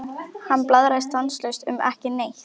Hann blaðraði stanslaust um ekki neitt.